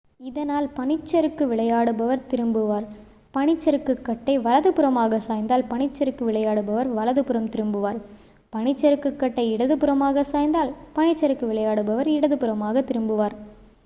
இதனால் பனிச் சறுக்கு விளையாடுபவர் திரும்புவார் பனிசறுக்குகட்டை வலதுபுறமாக சாய்ந்தால் பனிச் சறுக்கு விளையாடுபவர் வலதுபுறம் திரும்புவார் பனிசறுக்குகட்டை இடதுபுறமாக சாய்ந்தால் பனிச் சறுக்கு விளையாடுபவர் இடதுபுறமாக திரும்புவார்